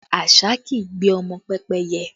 Àṣá kì í gbé ọmọ pẹ́pẹ́yẹ